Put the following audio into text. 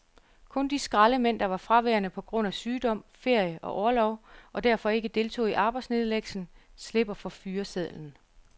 Kun de skraldemænd, der var fraværende på grund af sygdom, ferie og orlov og derfor ikke deltog i arbejdsnedlæggelsen, slipper for fyresedlen.